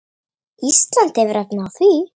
Ísland hefur efni á því.